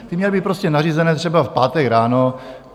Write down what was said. Ty měly být prostě nařízené třeba v pátek ráno.